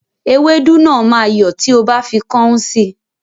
Ewédú náà máa yọ́ tí o bá fi kọ́ún sí